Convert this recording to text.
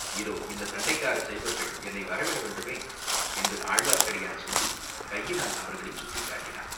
இதோ இந்தச் சண்டைக்காரச் சைவர்கள் என்னை வரவிடவேண்டுமே?" என்று ஆழ்வார்க்கடியான் சொல்லிக் கையினால் அவர்களைச் சுட்டிக் காட்டினான்.